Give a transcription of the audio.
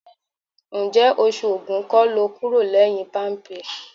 Ǹjẹ́ oṣù Ògún kọ́ lo kúrò lẹ́yìn Palmpay?